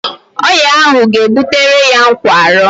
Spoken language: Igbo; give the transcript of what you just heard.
Ọrịa ahụ ga-ebutere ya nkwarụ